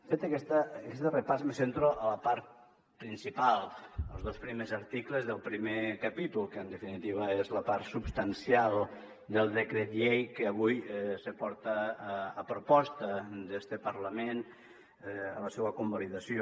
fet aquest repàs me centro en la part principal als dos primers articles del primer capítol que en definitiva és la part substancial del decret llei que avui se porta a proposta d’este parlament a la seua convalidació